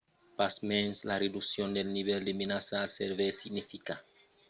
pasmens la reduccion del nivèl de menaça a sevèr significa pas que la menaça globala a desaparegut.